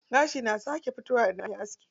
Gashi na sake fitowa idan an aske.